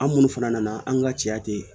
An minnu fana nana an ka cɛya ten